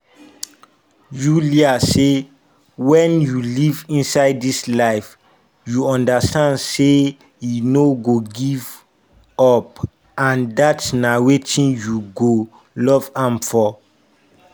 yulia say: “wen you live inside dis life you understand say e no go give up and dat na wetin you go love am for”.